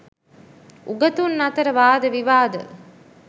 උගතුන් අතර වාද විවාද